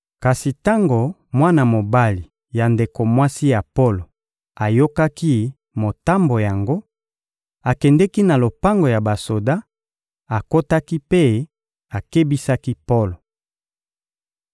Kasi tango mwana mobali ya ndeko mwasi ya Polo ayokaki motambo yango, akendeki na lopango ya basoda, akotaki mpe akebisaki Polo.